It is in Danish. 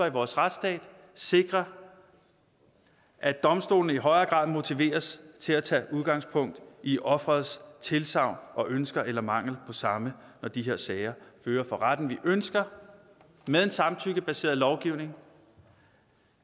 i vores retsstat sikrer at domstolene i højere grad motiveres til at tage udgangspunkt i offerets tilsagn og ønsker eller mangel på samme når de her sager føres for retten vi ønsker med en samtykkebaseret lovgivning